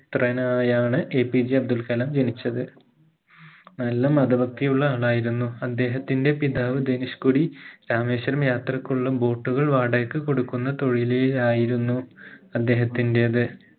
ത്രനായാണ് APJ Abdul Kalam ജനിച്ചത് നല്ല മത ഭക്തിയുള്ള ആളായിരുന്നു അദ്ദേഹത്തിന്റെ പിതാവ് ധനീഷ്കൊടി രാമേശ്വരം യാത്രക്കുള്ള boat കൾ വാടകയ്ക്ക് കൊടുക്കുന്ന തൊഴിലായിരുന്നു അദ്ദേഹത്തിന്റേത്